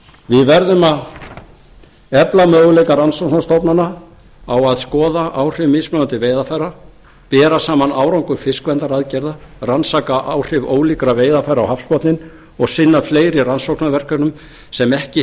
við verðum að efla möguleika rannsóknastofnana á að skoða áhrif mismunandi veiðarfæra bera saman árangur fiskverndaraðgerða rannsaka áhrif ólíkra veiðarfæra á hafsbotninn og sinna fleiri rannsóknarverkefnum sem ekki